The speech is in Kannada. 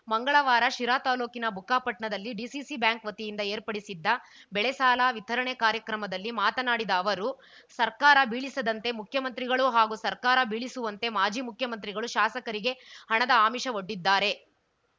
ಮಂಗಳವಾರ ಶಿರಾ ತಾಲೂಕಿನ ಬುಕ್ಕಾಪಪಟ್ನಾದಲ್ಲಿ ಡಿಸಿಸಿ ಬ್ಯಾಂಕ್‌ ವತಿಯಿಂದ ಏರ್ಪಡಿಸಿದ್ದ ಬೆಳೆ ಸಾಲ ವಿತರಣೆ ಕಾರ್ಯಕ್ರಮದಲ್ಲಿ ಮಾತನಾಡಿದ ಅವರು ಸರ್ಕಾರ ಬೀಳಿಸದಂತೆ ಮುಖ್ಯಮಂತ್ರಿಗಳು ಹಾಗೂ ಸರ್ಕಾರ ಬೀಳಿಸುವಂತೆ ಮಾಜಿ ಮುಖ್ಯಮಂತ್ರಿಗಳು ಶಾಸಕರಿಗೆ ಹಣದ ಆಮಿಷವೊಡ್ಡಿದ್ದಾರೆ